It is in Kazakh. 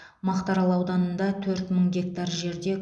мақтарал ауданында төрт мың гектар жерде